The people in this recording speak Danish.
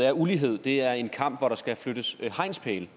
at ulighed er en kamp hvor der skal flyttes hegnspæle det